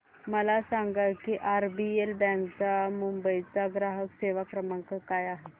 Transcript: मला सांगा की आरबीएल बँक मुंबई चा ग्राहक सेवा क्रमांक काय आहे